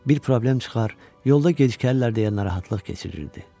Bir problem çıxar, yolda gecikərlər deyə narahatlıq keçirirdi.